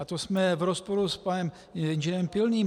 A to jsme v rozporu s panem inženýrem Pilným.